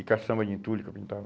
E caçamba de entulho que eu pintava.